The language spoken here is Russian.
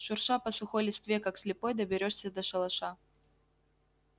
шурша по сухой листве как слепой доберёшься до шалаша